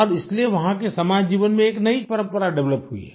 अब इसलिए वहाँ के समाज जीवन में एक नई परंपरा डेवलप हुई है